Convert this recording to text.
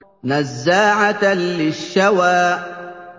نَزَّاعَةً لِّلشَّوَىٰ